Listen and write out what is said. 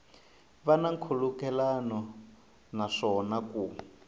va na nkhulukelano naswona ku